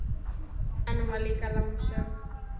En hún var líka lánsöm.